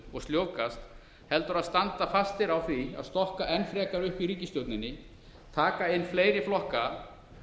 og sljóvgar heldur að standa fastir á því að stokka enn frekar upp í ríkisstjórninni taka inn fleiri flokka